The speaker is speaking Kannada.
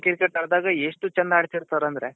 ಸಾಯಂಕಾಲ cricket ಎಷ್ಟು ಚೆಂದ ಆಡ್ತಿರ್ತಾರಂದ್ರೆ